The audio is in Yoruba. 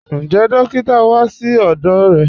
Ǹjẹ́ dòkìtà wá sí ọdọ́ rẹ?